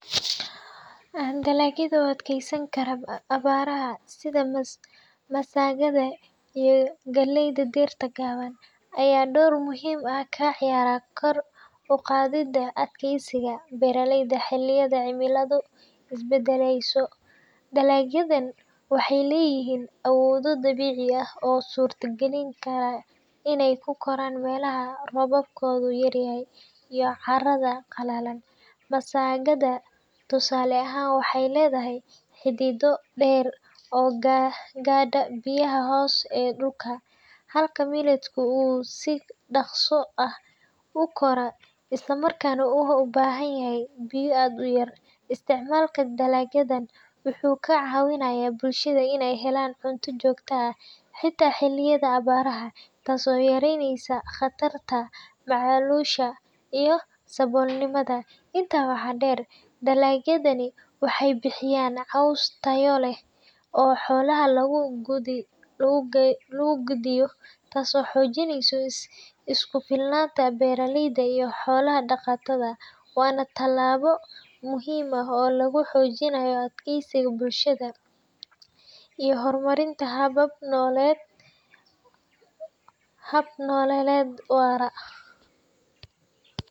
Dalagyada u adkeysan kara abaaraha sida masagada iyo galleyda dhirta gaaban ayaa door muhiim ah ka ciyaara kor u qaadidda adkeysiga beeraleyda xilliyada cimiladu isbedelayso. Dalagyadani waxay leeyihiin awoodo dabiici ah oo u suurta gelinaya inay ku koraan meelaha roobkoodu yaryahay iyo carrada qalalan. Masagada, tusaale ahaan, waxay leedahay xididdo dheer oo gaadha biyaha hoose ee dhulka, halka millet-ku uu si dhakhso ah u koro isla markaana u baahan yahay biyo aad u yar. Isticmaalka dalagyadan wuxuu ka caawinayaa bulshada in la helo cunto joogto ah, xitaa xilliyada abaaraha, taasoo yareynaysa khatarta macaluusha iyo saboolnimada. Intaa waxaa dheer, dalagyadani waxay bixiyaan caws tayo leh oo xoolaha loogu quudiyo, taasoo xoojisa isku filnaanta beeraleyda iyo xoola-dhaqatada. Waana tallaabo muhiim ah oo lagu xoojinayo adkeysiga bulshada iyo horumarinta hab-nololeed waara.